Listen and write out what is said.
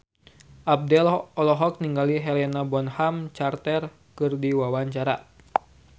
Abdel olohok ningali Helena Bonham Carter keur diwawancara